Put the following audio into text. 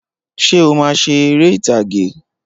Ṣé o máa ṣe eré ìtàgé?